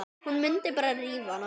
Hún mundi bara rífa hana.